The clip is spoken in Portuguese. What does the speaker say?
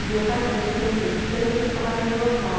E o meu pai também sempre, também por trabalhar em jornal.